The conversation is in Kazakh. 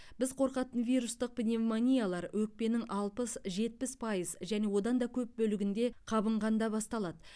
біз қорқатын вирустық пневмониялар өкпенің алпыс жетпіс пайыз және одан да көп бөлігінде қабынғанда басталады